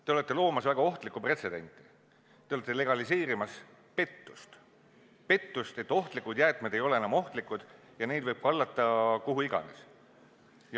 Te olete loomas väga ohtlikku pretsedenti, te olete legaliseerimas pettust, et ohtlikud jäätmed ei ole enam ohtlikud ja neid võib kallata, kuhu iganes.